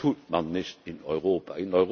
Das tut man nicht in Europa!